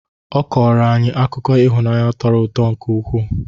Ọ kọrọ anyị akụkọ ihunaanyị tọrọ ụtọ nke ụkwụ.